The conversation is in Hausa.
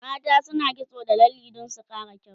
mata na kitso da lalle Dan su Kara kyau